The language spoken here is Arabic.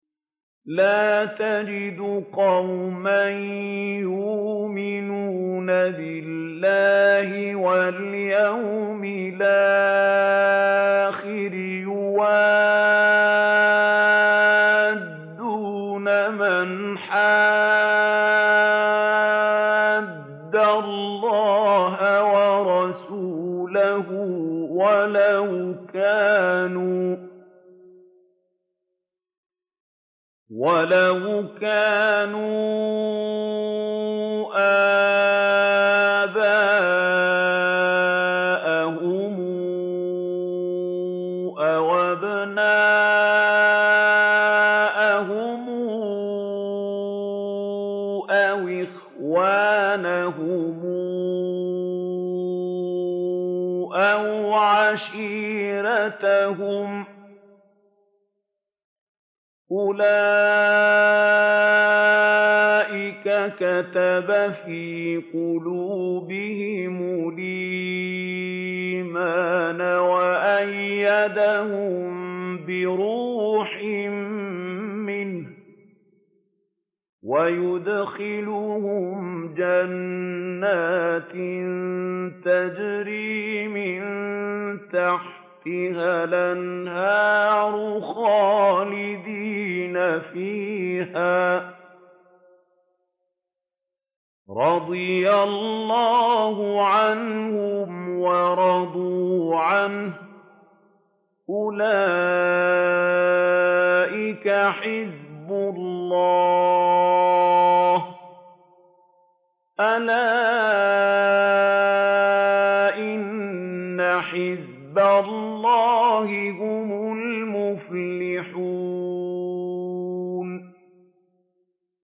لَّا تَجِدُ قَوْمًا يُؤْمِنُونَ بِاللَّهِ وَالْيَوْمِ الْآخِرِ يُوَادُّونَ مَنْ حَادَّ اللَّهَ وَرَسُولَهُ وَلَوْ كَانُوا آبَاءَهُمْ أَوْ أَبْنَاءَهُمْ أَوْ إِخْوَانَهُمْ أَوْ عَشِيرَتَهُمْ ۚ أُولَٰئِكَ كَتَبَ فِي قُلُوبِهِمُ الْإِيمَانَ وَأَيَّدَهُم بِرُوحٍ مِّنْهُ ۖ وَيُدْخِلُهُمْ جَنَّاتٍ تَجْرِي مِن تَحْتِهَا الْأَنْهَارُ خَالِدِينَ فِيهَا ۚ رَضِيَ اللَّهُ عَنْهُمْ وَرَضُوا عَنْهُ ۚ أُولَٰئِكَ حِزْبُ اللَّهِ ۚ أَلَا إِنَّ حِزْبَ اللَّهِ هُمُ الْمُفْلِحُونَ